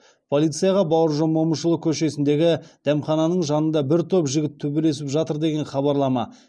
полицияға бауыржан момышұлы көшесіндегі дәмхананың жанында бір топ жігіт төбелесіп жатыр деген хабарлама